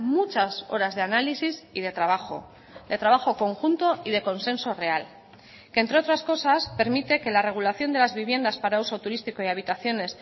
muchas horas de análisis y de trabajo de trabajo conjunto y de consenso real que entre otras cosas permite que la regulación de las viviendas para uso turístico y habitaciones